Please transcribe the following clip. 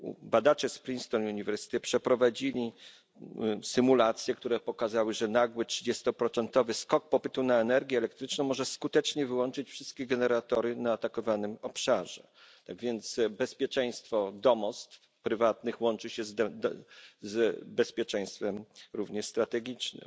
Badacze z Princeton University przeprowadzili symulacje, które pokazały, że nagły trzydziestoprocentowy skok popytu na energię elektryczną może skutecznie wyłączyć wszystkie generatory atakowanym obszarze, tak więc bezpieczeństwo domostw prywatnych łączy się również z bezpieczeństwem strategicznym.